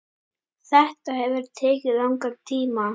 Þetta hefur tekið langan tíma.